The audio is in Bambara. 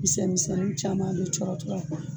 Misɛn misɛnin caman bɛ cɔrɔ cɔrɔ a